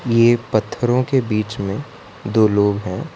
ये पत्थरों के बीच में दो लोग हैं।